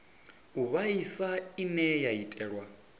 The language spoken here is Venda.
u vhaisa ine ya itelwa